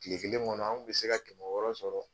Kile kelen kɔnɔ, an kun bɛ se ka kɛmɛ wɔɔrɔ sɔrɔ.